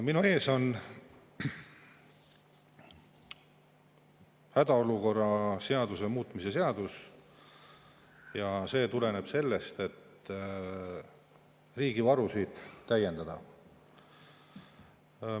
Minu ees on hädaolukorra seaduse muutmise seaduse ja see tuleneb sellest, et riigi varusid täiendada.